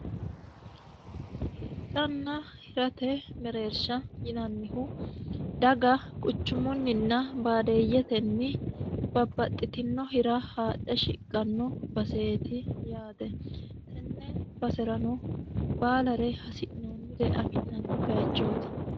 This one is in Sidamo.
hidhanna hirate mereersha yinannihu daga quchumunninna baadeeyyetenni babbaxxitino hira haadhe shiqqanno baseeti yaate tenne base'rano baalare hasi'noonnire afi'nanni bayichooti